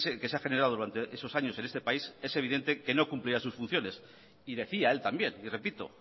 que se ha generado durante esos años en este país es evidente que no cumplirá sus funciones y decía él también y repito